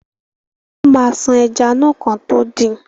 Wọ́n ma ṣan ẹja náà kán tó din.